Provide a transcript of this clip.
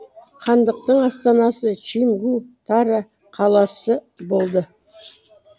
хандықтың астанасы чимгу тара қаласы болды